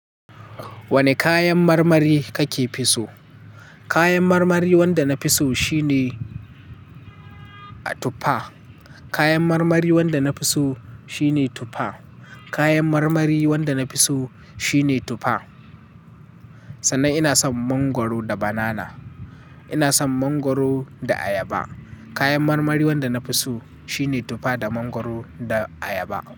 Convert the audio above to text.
Wane kayan marmari kake fi so? Kayan marmari wanda na fi so shine a tuffa. Kayan marmari wanda na fi so shine tufa. Kayan marmari wanda na fi so shine tufa. Sannan ina son mangwaro da banana. Ina son mangwaro da ayaba. Kayan marmari wanda na fi so shine tufa da mangwaro da ayaba.